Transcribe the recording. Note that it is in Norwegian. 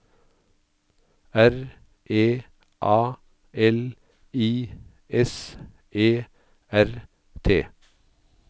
R E A L I S E R T